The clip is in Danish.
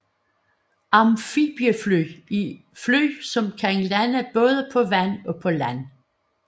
Amfibiefly er fly som kan lande både på vand og på land